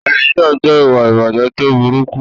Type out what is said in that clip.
Olè jíjà jẹ́ ìwà ìbàjẹ́ tó burúkú.